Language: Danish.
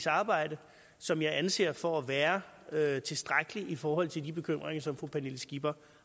arbejde som jeg anser for at være være tilstrækkelig i forhold til de bekymringer som fru pernille skipper